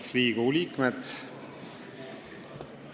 Head Riigikogu liikmed!